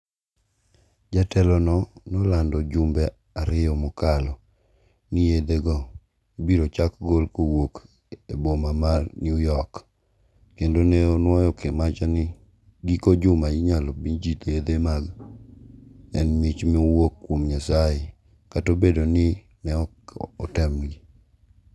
Jatelono nolando jumbe ariyo mokalo ni yethego ibiro chak gol kuwuok e boma ma New york, kendo ne onuoyo wacha ni giko juma inyalo mi ji yethe ma en mich mowuok kuom Nyasaye kata obedo ni ne ok otemgi.